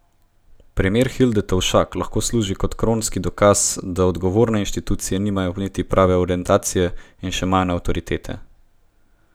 Primer Hilde Tovšak lahko služi kot kronski dokaz, da odgovorne institucije nimajo niti prave orientacije in še manj avtoritete.